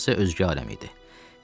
Uşaq isə özgə aləmdə idi.